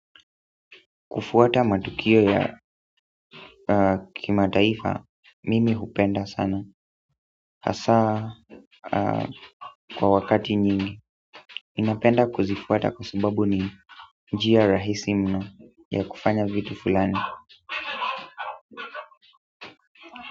Kufuata matukio ya kimataifa, mimi hupenda sana. Hasa kwa wakati nyingi, ninapenda kuzifuata kwa sababu ni njia rahisi mno ya kufanya vitu fulani.